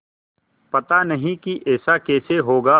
पता नहीं कि ऐसा कैसे होगा